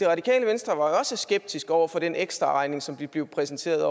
radikale venstre var også skeptisk over for den ekstraregning som vi blev præsenteret